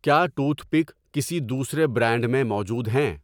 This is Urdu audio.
کیا ٹوتھ پک کسی دوسرے برانڈ میں موجود ہیں؟